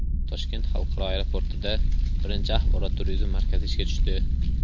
Toshkent xalqaro aeroportida birinchi Axborot-turizm markazi ishga tushdi.